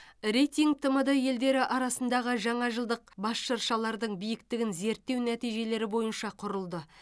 рейтинг тмд елдері арасындағы жаңа жылдық бас шыршалардың биіктігін зерттеу нәтижелері бойынша құрылды